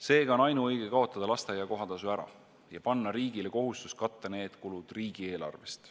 Seega on ainuõige kaotada lasteaia kohatasu ära ja panna riigile kohustus katta need kulud riigieelarvest.